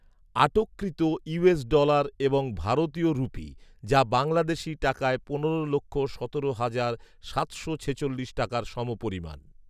আটককৃত US dollar এবং ভারতীয় রুপি যা বাংলাদেশী টাকায় পনেরো লক্ষ সতেরো হাজার সাতশো ছেচল্লিশ টাকার সমপরিমাণ